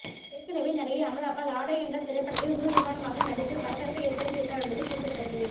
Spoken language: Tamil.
ஏற்கனவே நடிகை அமலா பால் ஆடை என்ற திரைப்படத்தில் முழு நிர்வாணமாக நடித்து பரபரப்பை ஏற்படுத்தி இருந்தார் என்பது குறிப்பிடத்தக்கது